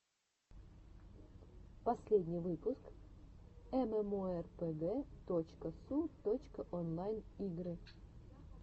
последний выпуск эмэмоэрпэгэ точка су точка онлайн игры